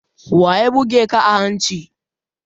Waya buge ka a hanci?